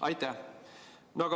Aitäh!